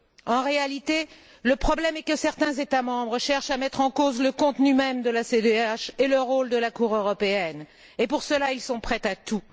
En réalité, le problème est que certains États membres cherchent à mettre en cause le contenu même de la CEDH et le rôle de la Cour européenne et, pour cela, ils sont prêts à tout.